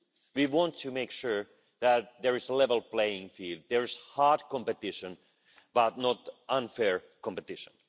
We want to make sure that there is a level playing field, that there is hard competition, but not unfair competition.